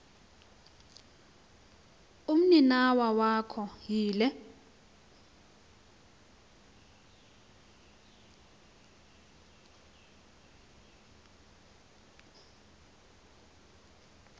umninawa wakho yile